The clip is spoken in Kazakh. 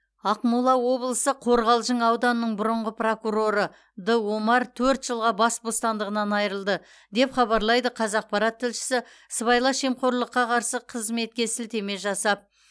ақмола облысы қорғалжың ауданының бұрынғы прокуроры д омар төрт жылға бас бостандығынан айырылды деп хабарлайды қазақпарат тілшісі сыбайлас жемқорлыққа қарсы қызметке сілтеме жасап